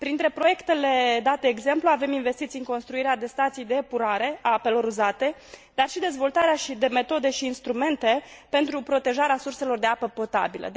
Printre proiectele date ca exemplu avem investiții în construirea de stații de epurarea a apelor uzate, dar și dezvoltarea de metode și instrumente pentru protejarea surselor de apă potabilă.